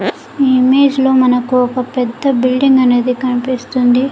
ఈ ఇమేజ్ లో మనకు ఒక పెద్ద బిల్డింగ్ అనేది కనిపిస్తుంది.